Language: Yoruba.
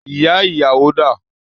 Ìyá ìyàwó dà?